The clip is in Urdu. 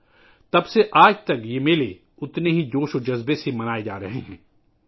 اس کے بعد سے آج تک یہ میلے یکساں جوش و خروش سے منائے جا رہے ہیں